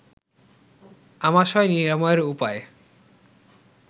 আমাশয় নিরাময়ের উপায়